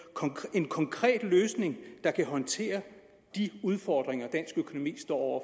en konkret løsning der kan håndtere de udfordringer dansk økonomi står over